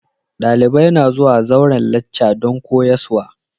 Dalibai na zuwa zauren lacca dan koyarswa.